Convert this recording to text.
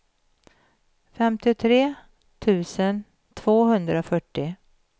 femtiotre tusen tvåhundrafyrtio